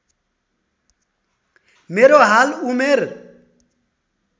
मेरो हाल उमेर